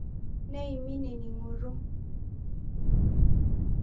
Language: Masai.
Neimin eningoto.